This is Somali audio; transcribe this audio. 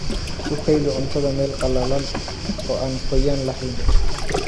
Ku kaydi cuntada meel qalalan oo aan qoyaan lahayn.